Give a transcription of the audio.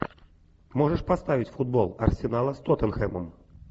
можешь поставить футбол арсенала с тоттенхэмом